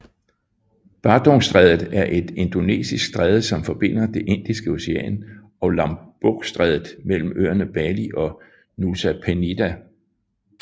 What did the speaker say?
Badungstrædet er et indonesisk stræde som forbinder det Indiske Ocean og Lombokstrædet mellem øerne Bali og Nusa Penida